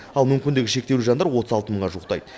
ал мүмкіндігі шектеулі жандар отыз алты мыңға жуықтайды